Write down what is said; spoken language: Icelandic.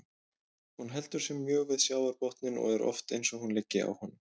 Hún heldur sig mjög við sjávarbotninn og er oft eins og hún liggi á honum.